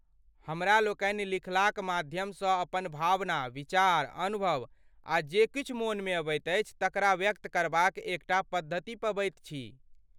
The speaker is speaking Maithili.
हमरा लोकनि लिखलाक माध्यमसँ अपन भावना, विचार, अनुभव आ जे किछु मोनमे अबैत अछि तकरा व्यक्त करबाक एकटा पद्धति पबैत छी।